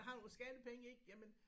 Har vores skattepenge ik jamen